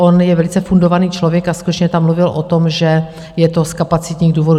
On je velice fundovaný člověk a skutečně tam mluvil o tom, že je to z kapacitních důvodů.